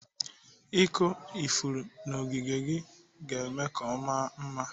Ịkụ ifuru n'ogige gị na-eme ka ọ maa mma.